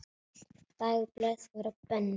Öll dagblöð voru bönnuð.